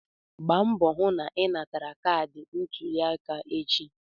Gba mbọ hụ na ị natara kaadị ntuliaka gị echi!